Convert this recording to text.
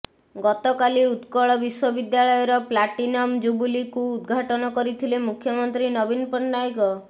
ଗତକାଲି ଉତ୍କଳ ବିଶ୍ବବିଦ୍ୟାଳୟର ପ୍ଲାଟିନମ୍ ଜୁବୁଲିକୁ ଉଦଘାଟନ କରିଥିଲେ ମୁଖ୍ୟମନ୍ତ୍ରୀ ନବୀନ ପଟ୍ଟନାୟକ